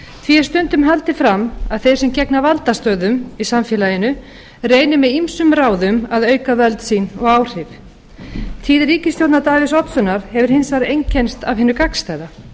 er stundum haldið fram að þeir sem gegna valdastöðum í samfélaginu reyni með ýmsum ráðum að auka völd sín og áhrif tíð ríkisstjórnar davíðs oddssonar hefur hins vegar einkennst af hinu gagnstæða